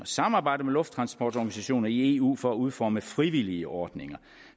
samarbejde med lufttransportorganisationer i eu for at udforme frivillige ordninger